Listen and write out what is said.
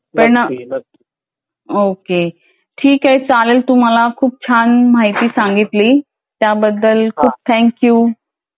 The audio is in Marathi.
पण ओके ठीक आहे. चालेल तू मला खूप छान माहिती सांगितली त्याबद्दल खूप थँक्यू.